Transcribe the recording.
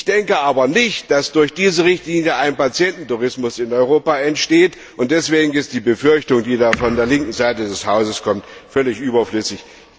Ich denke aber nicht, dass durch diese Richtlinie ein Patiententourismus in Europa entstehen wird. Deswegen ist die Befürchtung, die von der linken Seite dieses Hauses kommt, völlig überflüssig.